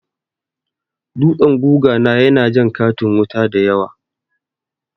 Dutsen guga na ya na jan katin wuta dayawa